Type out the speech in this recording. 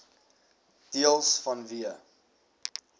deels vanweë